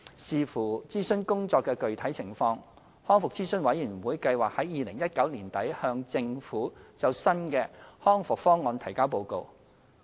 視乎諮詢工作的具體情況，康復諮詢委員會計劃在2019年年底向政府就新的《康復方案》提交報告。